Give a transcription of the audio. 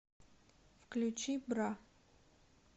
включи бра